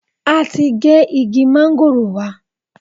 A ti gé igi mángòrò wa.